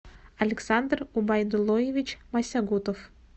александр убайдуллоевич масягутов